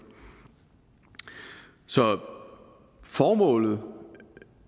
så formålet